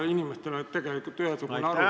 Inimestel peaks tegelikult olema ühesugune arusaam ...